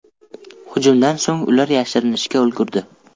Hujumdan so‘ng ular yashirinishga ulgurdi.